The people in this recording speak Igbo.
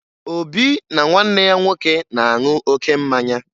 Obi na nwanne ya nwoke na-aṅụ oke mmanya